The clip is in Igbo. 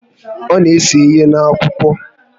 Ọ na ese ihe N'Akwụkwọ